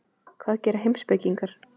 Hvað gera heimspekingar?